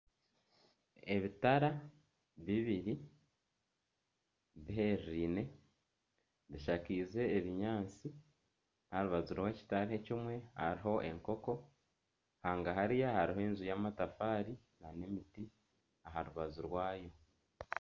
Ebitara bibiri bishakaize ebinyaatsi aha rubaju rw'ekitara ekimwe hariho enkoko hangahari hariho enju y'amatafaari nana emiti aha rubaju rwayo